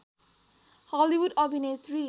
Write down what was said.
Hollywood अभिनेत्री